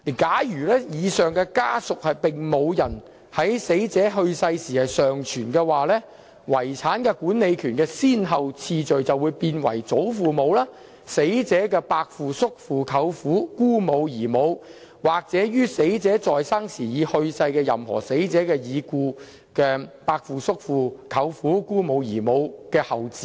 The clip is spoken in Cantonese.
假如以上家屬並無人在死者去世時尚存，遺產管理權的先後次序便為：祖父母、死者的伯父、叔父、舅父、姑母及姨母，或於死者在生時已去世的任何死者已故的伯父、叔父、舅父、姑母、姨母的後嗣等。